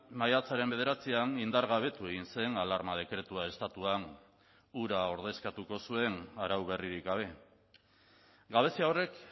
maiatzaren bederatzian indargabetu egin zen alarma dekretua estatuan hura ordezkatuko zuen arau berririk gabe gabezia horrek